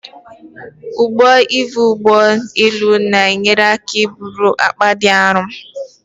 Ụgbọ ivu ụgbọ elu na-enyere aka iburu akpa dị aru